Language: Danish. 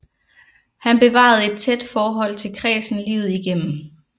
Han bevarede et tæt forhold til kredsen livet igennem